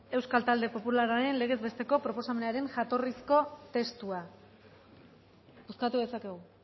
euskal talde popularraren legez besteko proposamenaren jatorrizko testua bozkatu dezakegu